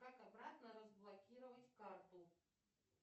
как обратно разблокировать карту